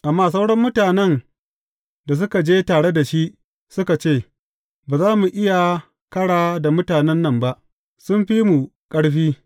Amma sauran mutanen da suka je tare da shi, suka ce, Ba za mu iya kara da mutanen nan ba; sun fi mu ƙarfi.